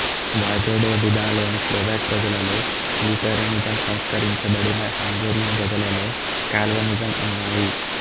వాజోడొడినాలోని Slovak ప్రజలలో Lutheranism సంస్కరించబడిన Hungarian ప్రజలలో కాల్వినిజం ఉన్నాయి